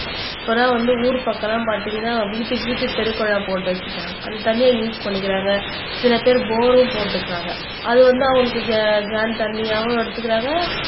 பிறகு வந்து ஊர் பக்கமெல்லாம் பாத்தீங்கன்னா வீட்டுக்கு வீட்டுக்கு தெருக் குழாய் போட்டு வச்சுட்டாங்க அந்த தண்ணியை யூஸ் பண்ணிக்கிறாங்க சில பேர் போரும் போட்டுக்கிறாங்க அது வந்து அவங்களுக்கு கேகேன் தண்ணியாவும் எடுத்துக்கிறாங்க